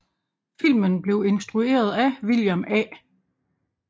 Filmen blev instrueret af William A